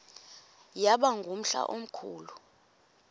yaba ngumhla omkhulu